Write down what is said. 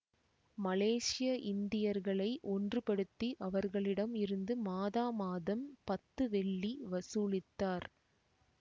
மலேசிய இந்தியர்களை ஒன்றுபடுத்தி அவர்களிடம் இருந்து மாதாமாதம் பத்து வெள்ளி வசூலித்தார்